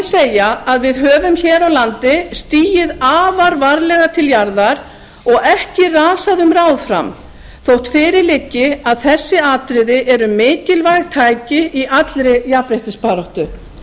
segja að við höfum hér á landi stigið afar varlega til jarðar og ekki rasað um ráð fram þótt fyrir liggi að þessi atriði eru mikilvæg tæki í allri jafnréttisbaráttu það er nefnilega að mínu